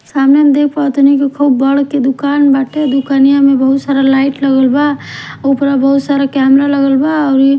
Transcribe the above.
सामने हम देख पाव तानी की खूब बड़ के दुकान बाटे दुकनिया में बहुत सारा लाइट लगल बा ऊपरा बहुत सारा कैमरा लागल बा अउरी --